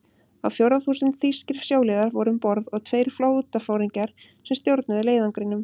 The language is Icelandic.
Á fjórða þúsund þýskir sjóliðar voru um borð og tveir flotaforingjar, sem stjórnuðu leiðangrinum.